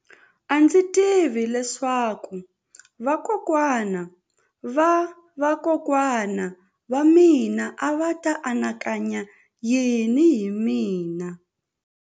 A ndzi tivi leswaku vakokwana-va-vakokwana va mina a va ta anakanya yini hi mina.